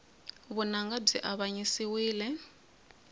vunanga byi avanyisiwile